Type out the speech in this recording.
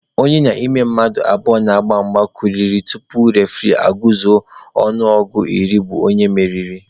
Onye n'ime mmadụ abụọ na-agba mgba kuliri ọtọ tupu refuree aguzuo ọnụọgụ ruo iri bụ onye mmeri